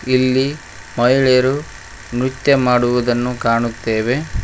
ಇಲ್ಲಿ ಮಹಿಳೆಯರು ನೃತ್ಯ ಮಾಡುವುದನ್ನು ಕಾಣುತ್ತೆವೆ.